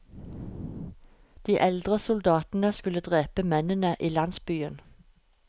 De eldre soldatene skulle drepe mennene i landsbyen.